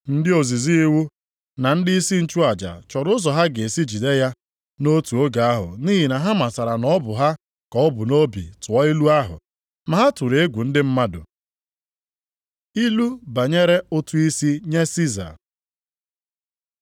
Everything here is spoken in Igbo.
Ndị ozizi iwu na ndịisi nchụaja chọrọ ụzọ ha ga-esi jide ya nʼotu oge ahụ nʼihi na ha matara na ọ bụ ha ka o bu nʼobi tụọ ilu ahụ, ma ha tụrụ egwu ndị mmadụ. Ilu banyere ụtụ isi nye Siza